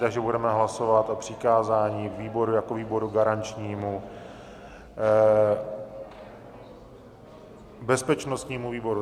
Takže budeme hlasovat o přikázání výboru jako výboru garančnímu bezpečnostnímu výboru.